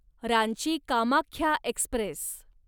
Ranchi Kamakhya Express